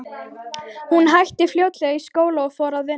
Hún hætti fljótlega í skóla og fór að vinna.